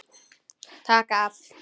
Taka af.